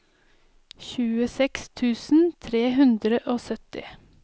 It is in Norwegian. tjueseks tusen tre hundre og sytti